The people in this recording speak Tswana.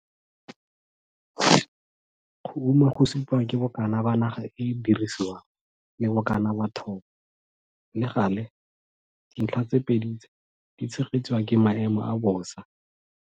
Go uma go supiwa ke bokana ba naga e e dirisiwang le bokana ba thobo, le gale, dintlha tse pedi tse di tshegetswa ke maemo a bosa.